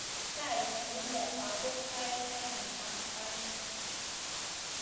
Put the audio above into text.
kait tuindo ako sait taman ak aeng